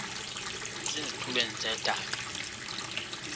base zitulmeni zedaka